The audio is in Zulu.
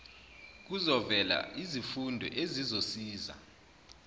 kuzovela izifundo ezizosiza